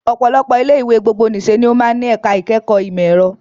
Ọ̀pọ̀lọpọ̀ ilé ìwé gbogbonìṣe ni ó máa ń ní ẹ̀ka ìkẹ́kọ̀ọ́ ìmọ̀ ẹ̀rọ